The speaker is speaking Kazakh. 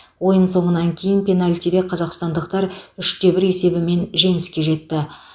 ойын соңынан кейін пенальтиде қазақстандықтар үш те бір есебімен жеңіске жетті